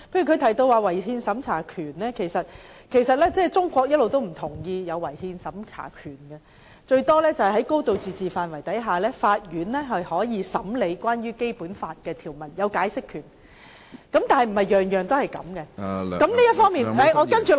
她提及違憲審查權，但其實中國一直不同意有違憲審查權，頂多是在"高度自治"的範圍下，法院具有審理有關的《基本法》條文時的解釋權，但並非凡事皆可如此處理......